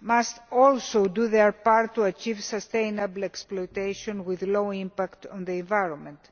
must also do their part to achieve sustainable exploitation with a low impact on the environment.